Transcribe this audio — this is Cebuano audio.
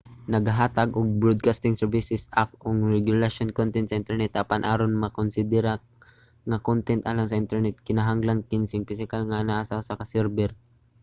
nagahatag ang broadcasting services act og regulasyon sa kontent sa internet apan aron makonsidera nga kontent alang sa internet kinahanglan kining pisikal nga anaa sa usa ka server